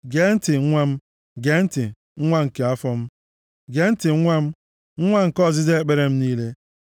Gee ntị, nwa m, gee ntị, nwa nke afọ m. Gee ntị, nwa m, nwa nke ọziza ekpere m niile.